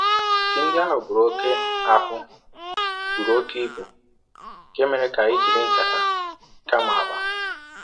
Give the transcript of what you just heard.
Ji ndị ahụ buru oke ahụ buru oke ibu, nke mere ka anyị jiri nkata kama akpa.